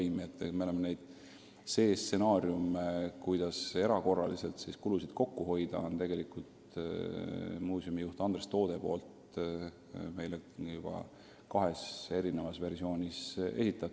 Muuseumi juht Andres Toode on C-stsenaariumi, kuidas säärasel juhul erakorraliselt kulusid kokku hoida, meile juba kahes versioonis esitanud.